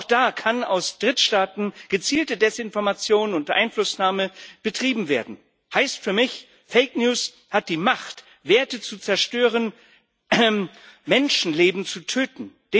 Auch da kann aus Drittstaaten gezielte Desinformation und Einflussnahme betrieben werden. Das heißt für mich Fake news hat die Macht, Werte zu zerstören, Menschenleben zu töten.